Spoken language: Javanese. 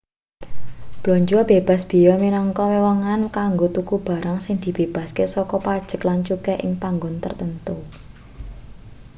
blanja bebas beya minangka wewengan kanggo tuku barang sing dibebasake saka pajeg lan cukai ing panggon tartamtu